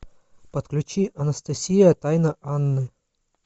подключи анастасия тайна анны